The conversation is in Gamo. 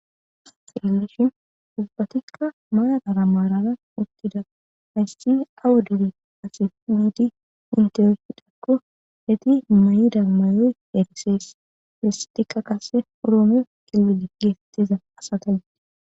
illishi ubbatikka mayadara maarala uttida maysi awo diri asi wiidi intiyofidakko heti may7ida mayoy heerisees lesetikka qase uroomiyo kilile geesettiza asatagee